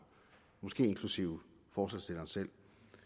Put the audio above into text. måske inklusive forslagsstilleren selv